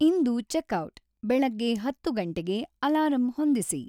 ಇಂದು checkout ಬೆಳಗ್ಗೆ ಹತ್ತು ಗಂಟೆಗೆ ಅಲಾರಂ ಹೊಂದಿಸಿ